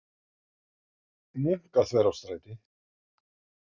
Munkaþverárstræti